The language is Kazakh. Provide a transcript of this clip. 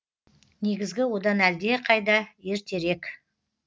негізгі одан әлдеқайда ертерек